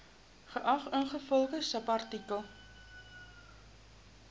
geag ingevolge subartikel